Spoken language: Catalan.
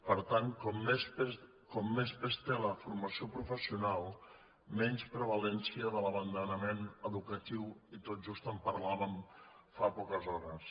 per tant com més pes té la formació professional menys prevalença de l’abandonament educatiu i tot just en parlàvem fa poques hores